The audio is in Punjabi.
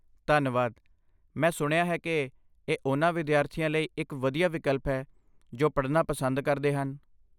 ਧੰਨਵਾਦ, ਮੈਂ ਸੁਣਿਆ ਹੈ ਕਿ ਇਹ ਉਹਨਾਂ ਵਿਦਿਆਰਥੀਆਂ ਲਈ ਇੱਕ ਵਧੀਆ ਵਿਕਲਪ ਹੈ ਜੋ ਪੜ੍ਹਨਾ ਪਸੰਦ ਕਰਦੇ ਹਨ।